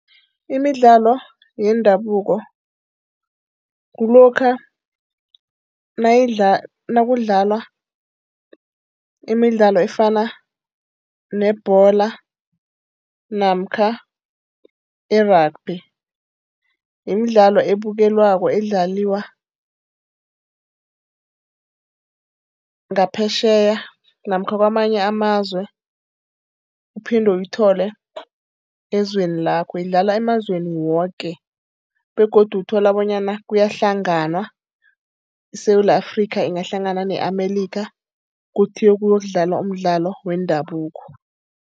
Imidlalo yendabuko kulokha nayidla, nakudlalwa imidlalo efana nebholo namkha i-rugby. Yimidlalo abukelwako, edlalwa ngaphetjheya namkha kwamanye amazwe uphinde uyithole ezweni lakho. Idlalwa emazweni woke begodu uthola bonyana kuyahlanganwa, iSewula Afrika kungahlangana ne-America, kuthi ukuyodlalwa umdlalo wendabuko.